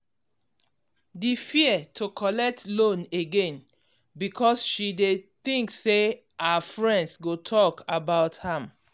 um the fear to collect loan again um because she dey think say her friends go talk about am.